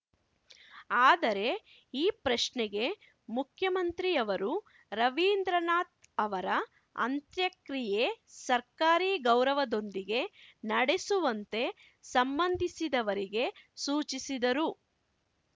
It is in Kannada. ಆದರೆ ಈ ಪ್ರಶ್ನೆಗೆ ಮುಖ್ಯಮಂತ್ರಿಯವರು ರವೀಂದ್ರನಾಥ್‌ ಅವರ ಅಂತ್ಯಕ್ರಿಯೆ ಸರ್ಕಾರಿ ಗೌರವದೊಂದಿಗೆ ನಡೆಸುವಂತೆ ಸಂಬಂಧಿಸಿದವರಿಗೆ ಸೂಚಿಸಿದರು